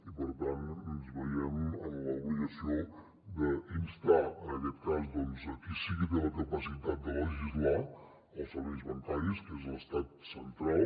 i per tant ens veiem en l’obligació d’instar en aquest cas doncs qui sí que té la capacitat de legislar els serveis bancaris que és l’estat central